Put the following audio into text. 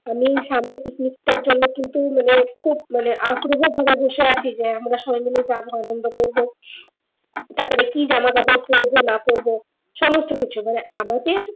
আমি সামনে picnic টার জন্য কিন্তু মানে খুব মানে আগ্রহ ধরে বসে আছি যে আমরা সবাই মিলে যাবো আনন্দ করবো তারপর কি জামা কাপড় পরবো না পরবো সমস্ত কিছু মানে আমাদের